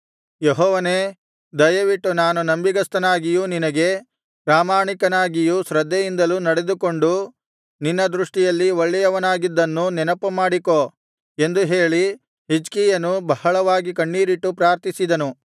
ಯೆಹೋವನೇ ದಯವಿಟ್ಟು ನಾನು ನಂಬಿಗಸ್ತನಾಗಿಯೂ ನಿನಗೆ ಪ್ರಾಮಾಣಿಕನಾಗಿಯೂ ಶ್ರದ್ಧೆಯಿಂದಲೂ ನಡೆದುಕೊಂಡು ನಿನ್ನ ದೃಷ್ಟಿಯಲ್ಲಿ ಒಳ್ಳೆಯವನಾಗಿದ್ದುದನ್ನು ನೆನಪುಮಾಡಿಕೋ ಎಂದು ಹೇಳಿ ಹಿಜ್ಕೀಯನು ಬಹಳವಾಗಿ ಕಣ್ಣೀರಿಟ್ಟು ಪ್ರಾರ್ಥಿಸಿದನು